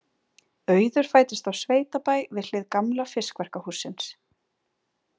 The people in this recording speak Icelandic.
Auður fæddist á sveitabæ við hlið gamla fiskverkahússins.